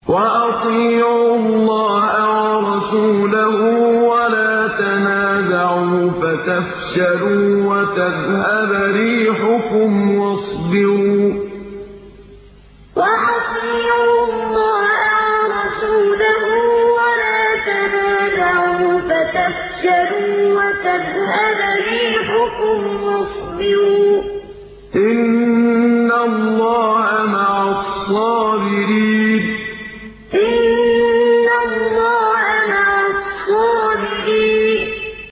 وَأَطِيعُوا اللَّهَ وَرَسُولَهُ وَلَا تَنَازَعُوا فَتَفْشَلُوا وَتَذْهَبَ رِيحُكُمْ ۖ وَاصْبِرُوا ۚ إِنَّ اللَّهَ مَعَ الصَّابِرِينَ وَأَطِيعُوا اللَّهَ وَرَسُولَهُ وَلَا تَنَازَعُوا فَتَفْشَلُوا وَتَذْهَبَ رِيحُكُمْ ۖ وَاصْبِرُوا ۚ إِنَّ اللَّهَ مَعَ الصَّابِرِينَ